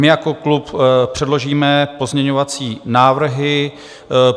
My jako klub předložíme pozměňovací návrhy.